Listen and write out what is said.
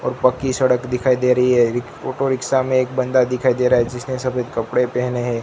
और पक्की सड़क दिखाई दे रही है एक ऑटो रिक्शा में एक बंदा दिखाई दे रहा है जिसने सफेद कपड़े पहने हैं।